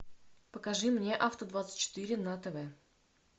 покажи мне авто двадцать четыре на тв